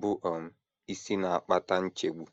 bụ́ um isi na - akpata nchegbu.